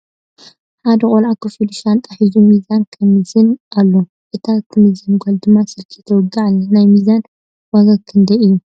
ሓደ ቆልዕ ኮፍ ኢሉ ሻንጣ ሒዙ ሚዛን የምዝን ኣሎ እታ ትምዘን ጋል ድማ ስልኪ ተዋግዕ ኣላ ። ናይ ሚዛን ዋጋ ክንደይ እዩ ?